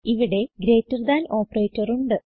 ഇവിടെ greater than operator ഉണ്ട്